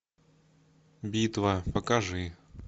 битва покажи